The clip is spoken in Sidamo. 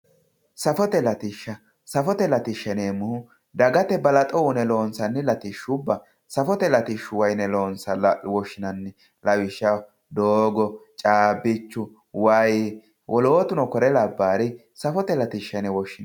safote latishsha safote latishsha yineemmohu dagate balaxo uyiine loonsanni latishshubba safote latishshuwa yine woshshinanni lawishshaho doogo caabbichu wayi woloottano kuri labbaari safote latishsha yine woshshinanni